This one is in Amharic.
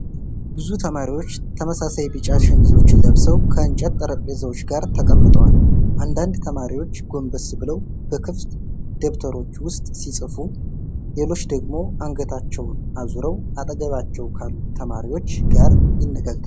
ብዙ ተማሪዎች ተመሳሳይ ቢጫ ሸሚዞችን ለብሰው ከእንጨት ጠረጴዛዎች ጋር ተቀምጠዋል። አንዳንድ ተማሪዎች ጎንበስ ብለው በክፍት ደብተሮች ውስጥ ሲጽፉ፣ ሌሎቹ ደግሞ አንገታቸውን አዙረው አጠገባቸው ካሉ ተማሪዎች ጋር ይነጋገራሉ።